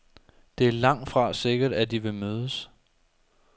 Det er langtfra sikkert, at de vil mødes.